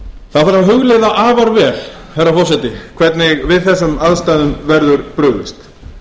það þarf að hugleiða afar vel herra forseti hvernig við þessum aðstæðum verður brugðist